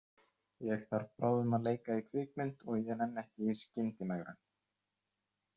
Ég þarf bráðum að leika í kvikmynd og ég nenni ekki í skyndimegrun.